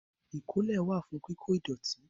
Ìkólẹ̀ wà fún kíkó ìdọ̀tí